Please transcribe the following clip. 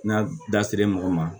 N'a dasir'e mɔgɔ ma